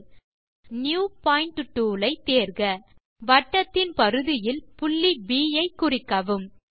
tool bar இலிருந்து new point tool ஐ தேர்க வட்டத்தின் பரிதியில் புள்ளி ப் ஐ குறிக்கவும்